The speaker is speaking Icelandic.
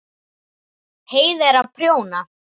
Heiða er að prjóna.